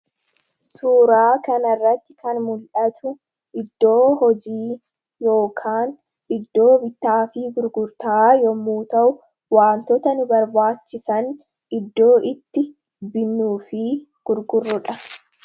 suuraa kanarratti kan mul'atu iddoo hojii yookaan iddoo bitaa fi gurgurta'a yommuu ta'u wantoota nu barbaachisan iddoo itti binnuu fi gurgurrodha